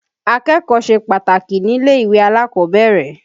Akẹ́kọ̀ọ́ ṣe pàtàkì nílé-ìwé alákọ̀ọ́bẹ̀rẹ̀.